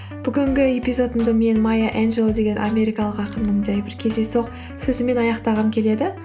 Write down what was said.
бүгінгі эпизодымды мен майя энджелоу деген америкалық ақынның жай бір кездейсоқ сөзімен аяқтағым келеді